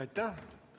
Aitäh!